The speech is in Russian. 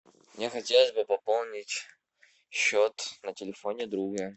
мне хотелось бы пополнить счет на телефоне друга